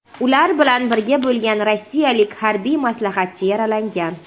Ular bilan birga bo‘lgan rossiyalik harbiy maslahatchi yaralangan.